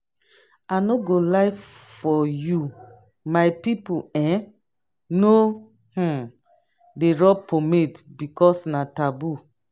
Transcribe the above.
i no go lie for you my people um no um dey rub pomade because na taboo